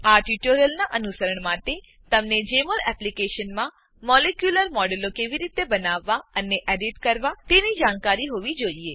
આ ટ્યુટોરીયલનાં અનુસરણ માટે તમને જેમોલ એપ્લીકેશનમાં મોલેક્યુલર મોડેલો કેવી રીતે બનાવવા અને એડીટ કરવા તેની જાણકારી હોવી જોઈએ